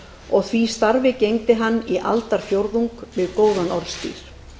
og því starfi gegndi hann í aldarfjórðung við góðan orðstír